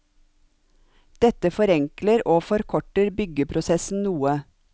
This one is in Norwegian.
Dette forenkler og forkorter byggeprosessen noe.